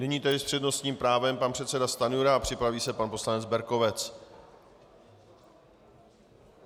Nyní tedy s přednostním právem pan předseda Stanjura a připraví se pan poslanec Berkovec.